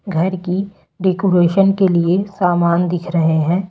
घर की डेकोरेशन के लिए सामान दिख रहे हैं।